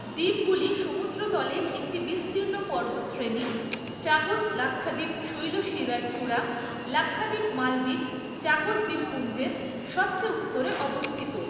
দ্বীপগুলি সমুদ্রতলের একটি বিস্তীর্ণ পর্বতশ্রেণী, চাগোস লাক্ষাদ্বীপ শৈলশিরার চূড়া লাক্ষাদ্বীপ মালদ্বীপ চাগোস দ্বীপপুঞ্জের সবচেয়ে উত্তরে অবস্থিত।